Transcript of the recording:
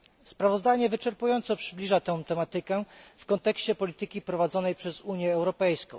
Sprawozdanie wyczerpująco przybliża tę tematykę w kontekście polityki prowadzonej przez Unię Europejską.